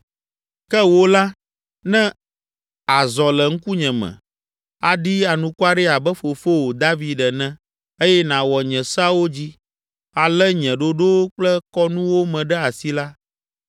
“Ke wò la, ne àzɔ le ŋkunye me, aɖi anukware abe fofowò, David ene eye nàwɔ nye seawo dzi, alé nye ɖoɖowo kple kɔnuwo me ɖe asi la,